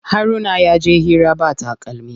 Haruna yaje hira ba takalmi.